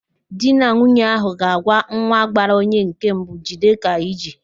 Di na nwunye ahụ ga-agwa nwa gbara onye nke mbụ, "jide ka iji"